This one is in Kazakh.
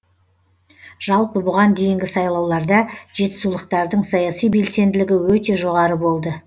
жалпы бұған дейінгі сайлауларда жетісулықтардың саяси белсенділігі өте жоғары болды